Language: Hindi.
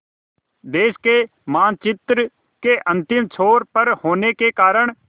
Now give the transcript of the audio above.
देश के मानचित्र के अंतिम छोर पर होने के कारण